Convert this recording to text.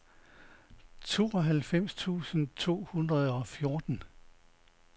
tooghalvfems tusind to hundrede og fjorten